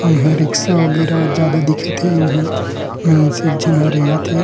इहाँ रिक्शा वगेरा ज्यादा दिखत हे अऊ इहाँ एक झन रेंगत हे ।